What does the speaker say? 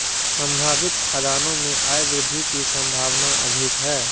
संभावित खदानों से आयवृद्धि की संभावना अधिक है